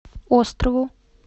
острову